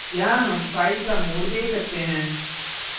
यहाँ हम file का mode दे सकते हैं